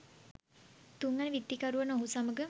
තුන්වන විත්තිකරු වන ඔහු සමග